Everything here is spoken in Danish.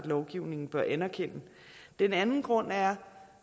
lovgivningen bør anerkende den anden grund er